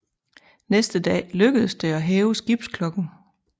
Næste dag lykkedes det at hæve skibsklokken